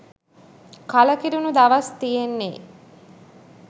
කලකිරුණු දවස් තියෙන්නේ